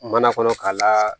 Mana kɔnɔ k'a la